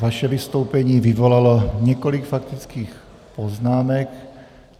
Vaše vystoupení vyvolalo několik faktických poznámek.